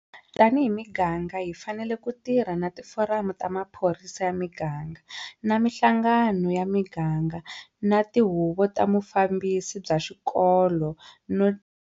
Tanihi miganga hi fanele ku tirha na Tiforamu ta Maphorisa ya Miganga, na mihlangano ya miganga na tihuvo ta vufambisi bya swikolo no.